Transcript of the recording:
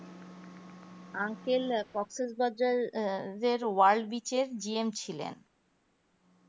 uncle ককসেস বাজারের যের world বিশেষ gm ছিলেন